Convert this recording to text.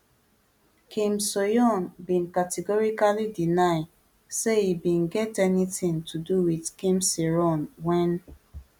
kim soohyun bin categorically deny say e bin get anytin to do wit kim sae ron wen